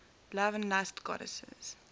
love and lust goddesses